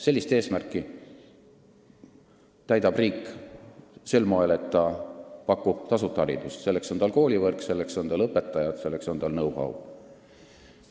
Sellist eesmärki täidab riik sel moel, et ta pakub tasuta haridust, selleks on tal koolivõrk, selleks on tal õpetajad, selleks on tal know-how.